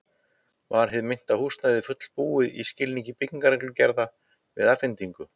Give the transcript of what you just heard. Var hið metna húsnæði fullbúið í skilningi byggingarreglugerða við afhendingu?